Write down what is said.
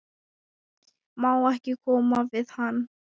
Má ekki koma við hann?